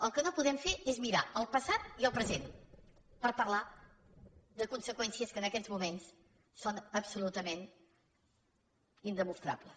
el que no podem fer és mirar el passat i el present per parlar de conseqüències que en aquests moments són absolutament indemostrables